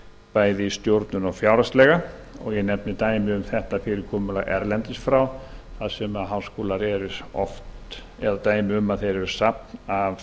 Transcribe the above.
bæði í stjórnun og fjárhagslega ég nefni dæmi um þetta fyrirkomulag erlendis frá þar sem háskólar eru oft safn af